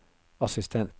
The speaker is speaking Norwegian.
assistent